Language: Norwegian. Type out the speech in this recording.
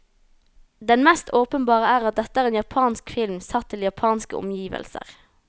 Den mest åpenbare er at dette er en japansk film satt til japanske omgivelser.